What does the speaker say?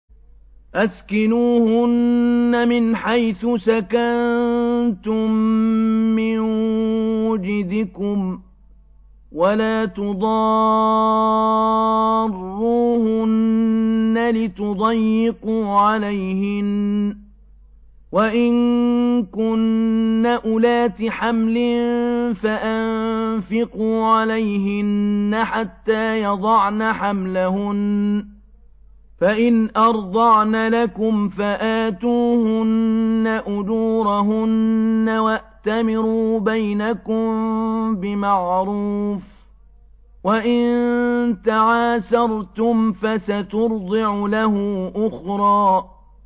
أَسْكِنُوهُنَّ مِنْ حَيْثُ سَكَنتُم مِّن وُجْدِكُمْ وَلَا تُضَارُّوهُنَّ لِتُضَيِّقُوا عَلَيْهِنَّ ۚ وَإِن كُنَّ أُولَاتِ حَمْلٍ فَأَنفِقُوا عَلَيْهِنَّ حَتَّىٰ يَضَعْنَ حَمْلَهُنَّ ۚ فَإِنْ أَرْضَعْنَ لَكُمْ فَآتُوهُنَّ أُجُورَهُنَّ ۖ وَأْتَمِرُوا بَيْنَكُم بِمَعْرُوفٍ ۖ وَإِن تَعَاسَرْتُمْ فَسَتُرْضِعُ لَهُ أُخْرَىٰ